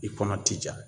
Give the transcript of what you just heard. I kɔnɔ ti ja